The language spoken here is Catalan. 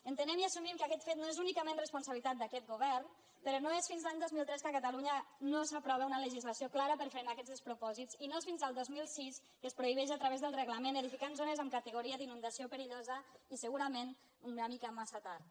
entenem i assumim que aquest fet no és únicament responsabilitat d’aquest govern però no és fins a l’any dos mil tres que a catalunya no s’aprova una legislació clara per frenar aquests despropòsits i no és fins al dos mil sis que es prohibeix a través del reglament edificar en zones amb categoria d’inundació perillosa i segurament una mica massa tard